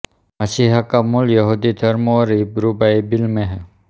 मसीहा का मूल यहूदी धर्म और हिब्रू बाइबिल में है